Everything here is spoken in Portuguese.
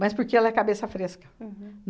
Mas porque ela é cabeça fresca.